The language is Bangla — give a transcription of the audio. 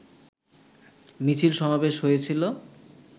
মিছিল সমাবেশ হয়েছিল